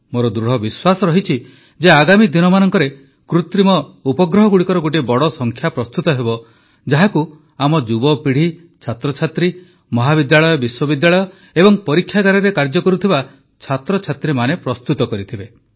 ମୋର ଦୃଢ଼ ବିଶ୍ୱାସ ରହିଛି ଯେ ଆଗାମୀ ଦିନମାନଙ୍କରେ କୃତ୍ରିମ ଉପଗ୍ରହଗୁଡ଼ିକର ଗୋଟିଏ ବଡ଼ ସଂଖ୍ୟା ପ୍ରସ୍ତୁତ ହେବ ଯାହାକୁ ଆମ ଯୁବପିଢ଼ି ଛାତ୍ରଛାତ୍ରୀ ମହାବିଦ୍ୟାଳୟ ବିଶ୍ୱବିଦ୍ୟାଳୟ ଏବଂ ପରୀକ୍ଷାଗାରରେ କାର୍ଯ୍ୟ କରୁଥିବା ଛାତ୍ରଛାତ୍ରୀମାନେ ପ୍ରସ୍ତୁତ କରିଥିବେ